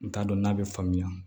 N t'a dɔn n'a bɛ faamuya